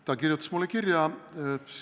Ta kirjutas mulle kirja.